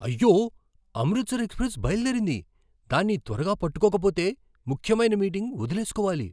అయ్యో! అమృత్సర్ ఎక్స్ప్రెస్ బయలుదేరింది. దాన్ని త్వరగా పట్టుకోకపోతే ముఖ్యమైన మీటింగ్ వదిలేసుకోవాలి!